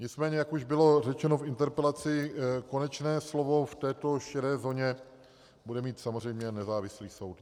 Nicméně jak už bylo řečeno v interpelaci, konečné slovo v této šedé zóně bude mít samozřejmě nezávislý soud.